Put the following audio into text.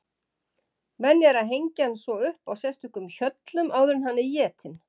Venja er að hengja hann svo upp á sérstökum hjöllum áður en hann er étinn.